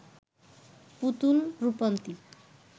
Putul, Rupanti